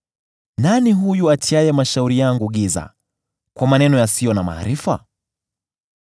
“Nani huyu atiaye mashauri yangu giza kwa maneno yasiyo na maarifa?